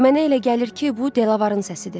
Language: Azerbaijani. Mənə elə gəlir ki, bu Delavarrın səsidir.